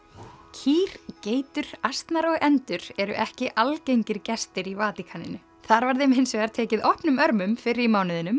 kýr geitur asnar og endur eru ekki algengir gestir í Vatíkaninu þar var þeim hins vegar tekið opnum örmum fyrr í